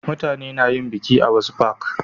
mutane na yin biki a wasu fak